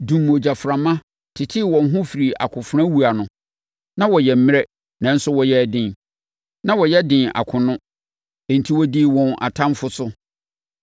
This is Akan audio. dumm ogyaframa, tetee wɔn ho firii akofenawuo ano. Na wɔyɛ mmerɛ, nanso wɔyɛɛ den. Na wɔyɛ den akono, enti wɔdii wɔn atamfoɔ so.